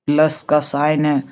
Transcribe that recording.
Plus का sign ए ।